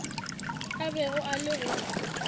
a bego a le go